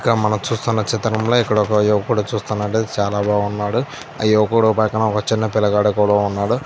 ఇక్కడ మనం చూస్తున్న చిత్రంలో ఇక్కడ యువకుడు చూస్తున్నట్లైతే చాల బాగున్నాడు ఆ యువకుడు పక్కన ఒక చిన్న పిల్లగాడు కూడా ఉన్నాడు.